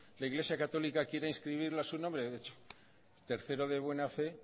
la iglesia católica quiera inscribirla a su nombre hecho tercero de buena fe